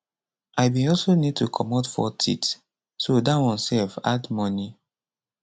i bin also need to comot four teeth so dat one sef add money